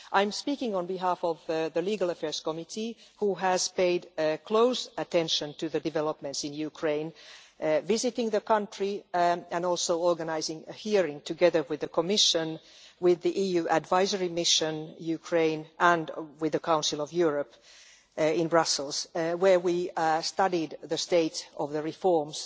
I am speaking on behalf of the Committee on Legal Affairs, which has paid close attention to the developments in Ukraine visiting the country and also organising a hearing, together with the Commission, with the EU Advisory Mission Ukraine and with the Council of Europe in Brussels, where we studied the state of the reforms